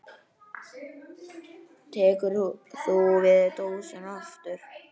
Tekur þú svo dósina aftur?